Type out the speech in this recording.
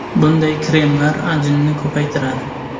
Bunday kremlar ajinni ko‘paytiradi.